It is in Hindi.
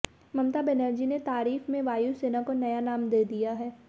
ममता बनर्जी ने तारीफ में वायुसेना को नया नाम दे दिया है